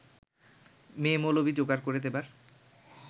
মেয়ে-মৌলবি যোগাড় করে দেবার